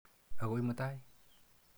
Akoi mutai.